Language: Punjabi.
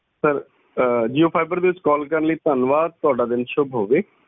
ਸਰ ਅਮ jio fiber ਦੇ ਵਿੱਚ ਕਾਲ ਕਰਨ ਲਈ ਥੰਨਵਾਦ ਤੁਹਾਡਾ ਦਿਨ ਸ਼ੁਭ ਹੋਵੇ